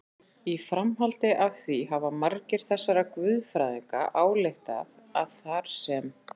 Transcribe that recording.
Í framhaldi af því hafa margir þessara guðfræðinga ályktað að þar sem